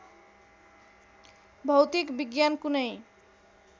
भौतिक विज्ञान कुनै